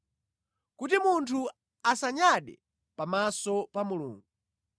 kuti munthu asanyade pamaso pa Mulungu.